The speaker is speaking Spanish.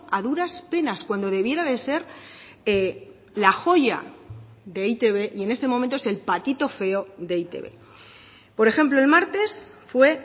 a duras penas cuando debiera de ser la joya de e i te be y en este momento es el patito feo de e i te be por ejemplo el martes fue